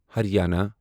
Haryana